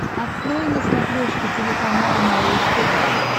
открой на смотрешке телеканал малыш тв